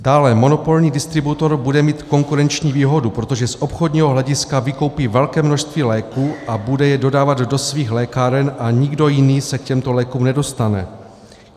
Dále monopolní distributor bude mít konkurenční výhodu, protože z obchodního hlediska vykoupí velké množství léků a bude je dodávat do svých lékáren a nikdo jiný se k těmto lékům nedostane.